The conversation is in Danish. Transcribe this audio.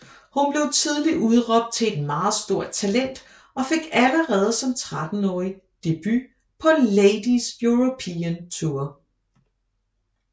Hun blev tidlig udråbt til et meget stort talent og fik allerede som 13 åring debut på Ladies European Tour